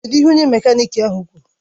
Kedụ ihe onye mekaniki ahụ kwuru?